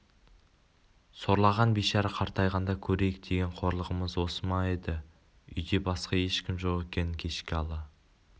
сорлаған бейшара қартайғанда көрейік деген қорлығымыз осы ма еді үйде басқа ешкім жоқ екен кешкі ала